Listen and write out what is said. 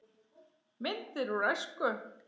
Myndir úr æsku.